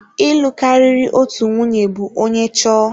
Ịlụ karịrị otu nwunye bụ onye chọọ.